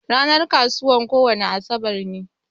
Ranar kasuwan kowani asabar ne.